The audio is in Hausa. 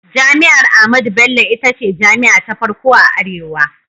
Jami'ar Ahmadu Bello ita ce jami'a ta farko a arewa.